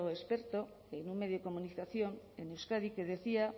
experto en un medio de comunicación en euskadi que decía